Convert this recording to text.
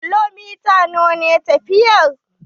Kilomita nawa ne tafiyar?